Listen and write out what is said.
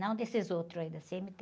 Não desses outros aí, da cê-eme-tê